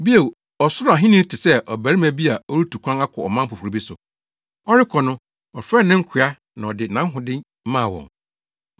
“Bio, Ɔsoro Ahenni te sɛ ɔbarima bi a ɔretu kwan akɔ ɔman foforo bi so. Ɔrekɔ no, ɔfrɛɛ ne nkoa na ɔde nʼahode maa wɔn.